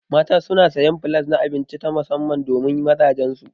Mata suna sayan flas na abinci ta musamman domin mazajan su.